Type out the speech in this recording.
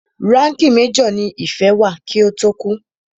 Ránkìì major ní Ìfẹ́ wà kí ó tó kú.